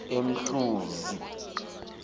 emhluzi